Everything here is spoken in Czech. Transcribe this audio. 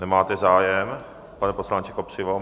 Nemáte zájem, pane poslanče Kopřivo?